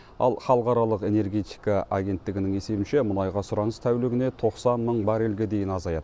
ал халықаралық энергетика агенттігінің есебінше мұнайға сұраныс тәулігіне тоқсан мың баррельге дейін азаяды